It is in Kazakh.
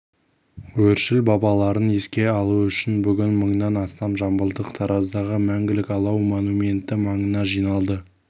өршіл бабаларын еске алу үшін бүгін мыңнан астам жамбылдық тараздағы мәңгілік алау монументі маңына жиналды